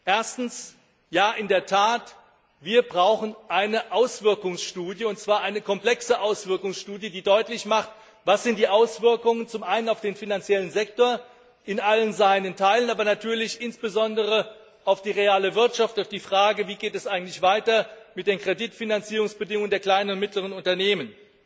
Erstens Ja in der Tat, wir brauchen eine Auswirkungsstudie, und zwar eine komplexe Auswirkungsstudie, die deutlich macht, was die Auswirkungen zum einen auf den finanziellen Sektor in allen seinen Teilen, aber natürlich insbesondere auf die reale Wirtschaft sind, auf die Frage, wie geht es eigentlich weiter mit den Kreditfinanzierungsbedingungen der kleinen und mittleren Unternehmen.